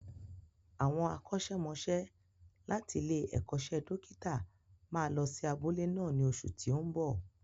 Àwọn akọ́ṣẹ́mọsẹ́ láti ilé-ẹ̀kọ́ṣẹ́ dókítà máa lọ sí abúlé náà ní oṣù tí ó ń bo.